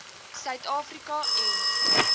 suid afrika en